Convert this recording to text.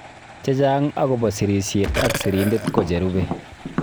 Chechang' akobo sirisyet ak sirindet ko cherube